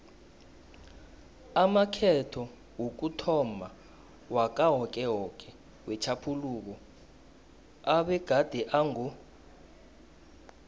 amakhetho wokuthomma wakawokewoke wetjhaphuluko abegade ango